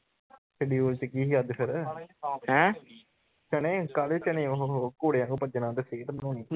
schedule ਚ ਕੀ ਸੀ ਅੱਜ ਫਿਰ ਚਨੇ ਹੀ ਕਾਲੇ ਚਨੇ ਓਹੋ ਹੋ ਘੋੜੇ ਵਾਂਗੂ ਭੱਜਣਾ